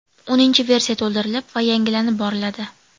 O‘ninchi versiya to‘ldirilib va yangilanib boriladi.